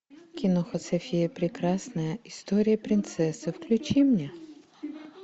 киноха софия прекрасная история принцессы включи мне